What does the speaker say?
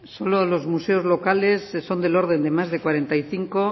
solo los museos locales son del orden de más de cuarenta y cinco